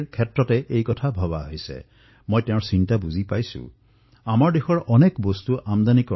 আমাৰ দেশত এনে কিমান সামগ্ৰী বাহিৰৰ পৰা আহে আৰু ইয়াৰ বাবে আমাৰ নিষ্ঠাৱান কৰদাতাৰ টকা ব্যয় হয় যাৰ বিকল্প আমি অতি সহজে ভাৰতত প্ৰস্তুত কৰিব পাৰো